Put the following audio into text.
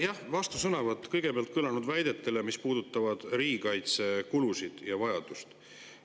Jah, kõigepealt vastusõnavõtt kõlanud väidetele, mis puudutasid riigikaitsekulusid ja ‑vajadust.